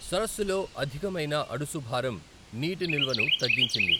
సరస్సులో అధికమైన అడుసు భారం నీటి నిల్వను తగ్గించింది.